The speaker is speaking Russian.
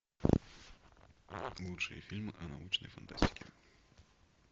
лучшие фильмы о научной фантастике